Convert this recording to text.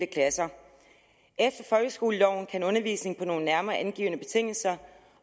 klasser efter folkeskoleloven kan undervisning på nogle nærmere angivne betingelser